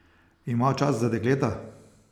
Ima čas za dekleta?